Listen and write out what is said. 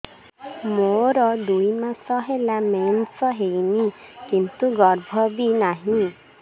ମୋର ଦୁଇ ମାସ ହେଲା ମେନ୍ସ ହେଇନି କିନ୍ତୁ ଗର୍ଭ ବି ନାହିଁ